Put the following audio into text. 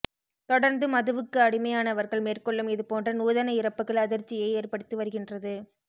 தொடர்ந்து மதுவுக்கு அடிமையானவர்கள் மேற்கொள்ளும் இதுபோன்ற நூதன இறப்புகள் அதிர்ச்சியை ஏற்படுத்தி வருகின்றது